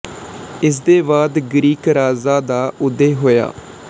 ਇਸ ਦੇ ਬਾਅਦ ਗਰੀਕ ਰਾਜਾਂ ਦਾ ਉਦਏ ਹੋਇਆ